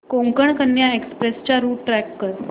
Konkan Kanya express चा route track कर